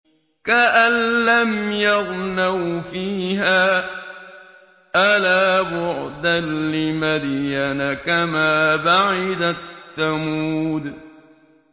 كَأَن لَّمْ يَغْنَوْا فِيهَا ۗ أَلَا بُعْدًا لِّمَدْيَنَ كَمَا بَعِدَتْ ثَمُودُ